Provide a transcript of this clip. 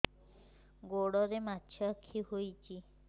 ଗୋଡ଼ରେ ମାଛଆଖି ହୋଇଛି